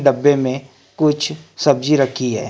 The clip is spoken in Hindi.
डब्बे में कुछ सब्जी रखी है।